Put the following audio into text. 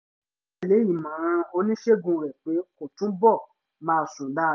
ó tẹ̀ lé ìmọ̀ràn oníṣègùn rẹ̀ pé kó túbọ̀ máa sùn dáadáa